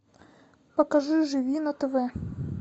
покажи живи на тв